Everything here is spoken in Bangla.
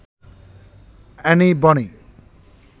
অ্যানি বনি